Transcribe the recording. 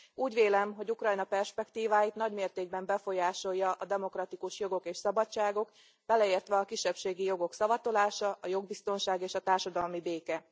Úgy vélem, hogy Ukrajna perspektíváit nagy mértékben befolyásolja a demokratikus jogok és szabadságok, beleértve a kisebbségi jogok szavatolása, a jogbiztonság és a társadalmi béke.